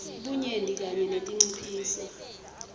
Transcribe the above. bunyenti kanye netinciphiso